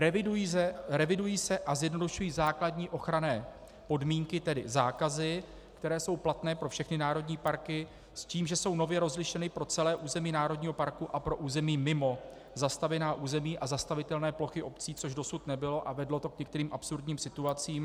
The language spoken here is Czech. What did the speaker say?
Revidují se a zjednodušují základní ochranné podmínky, tedy zákazy, které jsou platné pro všechny národní parky, s tím, že jsou nově rozlišeny pro celé území národního parku a pro území mimo zastavěná území a zastavitelné plochy obcí, což dosud nebylo a vedlo to k některým absurdním situacím.